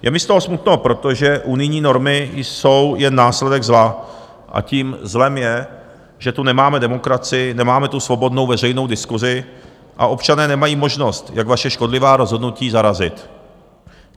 Je mi z toho smutno, protože unijní normy jsou jen následek zla, a tím zlem je, že tu nemáme demokracii, nemáme tu svobodnou veřejnou diskusi a občané nemají možnost, jak vaše škodlivá rozhodnutí zarazit.